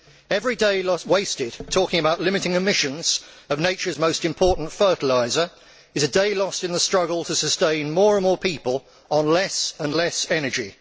Every day wasted talking about limiting emissions of nature's most important fertiliser is a day lost in the struggle to sustain more and more people on less and less energy.